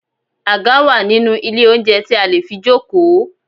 Àga wà nínú ilé oúnjẹ tí a lè fi jókòó.